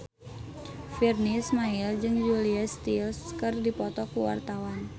Virnie Ismail jeung Julia Stiles keur dipoto ku wartawan